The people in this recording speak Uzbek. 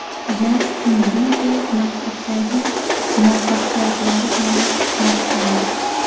Jastin Biber maktabdagi muvaffaqiyatlari bilan maqtandi.